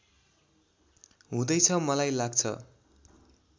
हुँदैछ मलाई लाग्छ